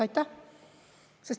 Aitäh!